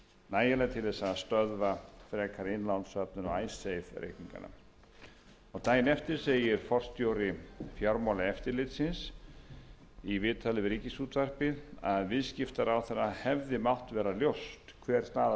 nægileg til þess að stöðva frekari innlánssöfnun á icesave reikningana daginn eftir segir forstjóri fjármálaeftirlitsins í viðtali við ríkisútvarpið að viðskiptaráðherra hefði mátt vera ljóst hver staða landsbankans vegna icesave reikninganna var